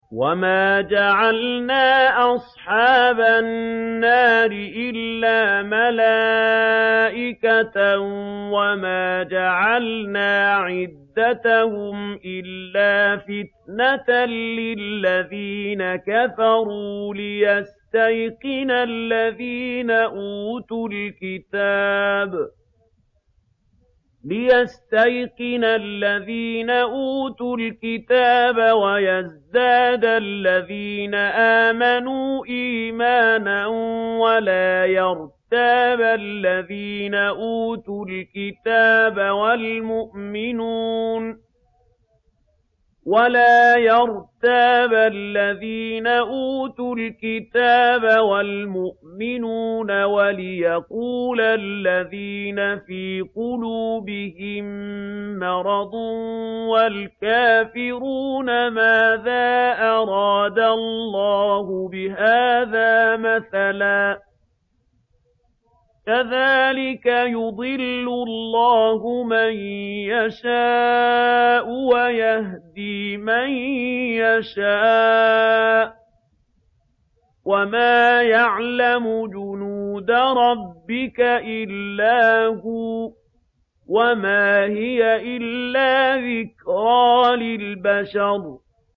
وَمَا جَعَلْنَا أَصْحَابَ النَّارِ إِلَّا مَلَائِكَةً ۙ وَمَا جَعَلْنَا عِدَّتَهُمْ إِلَّا فِتْنَةً لِّلَّذِينَ كَفَرُوا لِيَسْتَيْقِنَ الَّذِينَ أُوتُوا الْكِتَابَ وَيَزْدَادَ الَّذِينَ آمَنُوا إِيمَانًا ۙ وَلَا يَرْتَابَ الَّذِينَ أُوتُوا الْكِتَابَ وَالْمُؤْمِنُونَ ۙ وَلِيَقُولَ الَّذِينَ فِي قُلُوبِهِم مَّرَضٌ وَالْكَافِرُونَ مَاذَا أَرَادَ اللَّهُ بِهَٰذَا مَثَلًا ۚ كَذَٰلِكَ يُضِلُّ اللَّهُ مَن يَشَاءُ وَيَهْدِي مَن يَشَاءُ ۚ وَمَا يَعْلَمُ جُنُودَ رَبِّكَ إِلَّا هُوَ ۚ وَمَا هِيَ إِلَّا ذِكْرَىٰ لِلْبَشَرِ